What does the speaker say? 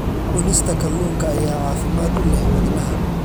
Cunista kalluunka ayaa caafimaad u leh wadnaha.